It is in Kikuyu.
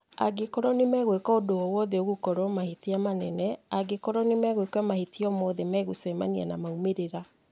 angĩkorwo nĩmegwika ũndũ o wothe ũgũkorwo mahitia manene, angĩkorwo nĩmegwika mahitia omothe nĩ magũcemania na maumĩrĩra